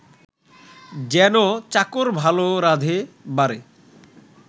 যেন চাকর ভাল রাঁধে বাড়ে